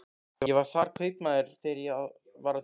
Ég var þar kaupmaður þegar ég var á þínum aldri.